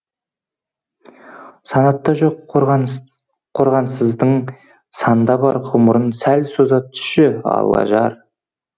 санатта жоқ қорғансыздың санда бар ғұмырын сәл соза түсші алла жар